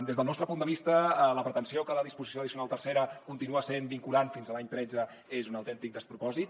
des del nostre punt de vista la pretensió que la disposició addicional tercera continua sent vinculant fins a l’any tretze és un autèntic despropòsit